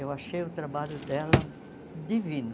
Eu achei o trabalho dela divino.